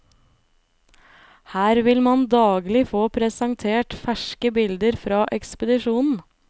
Her vil man daglig få presentert ferske bilder fra ekspedisjonen.